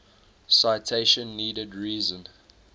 citation needed reason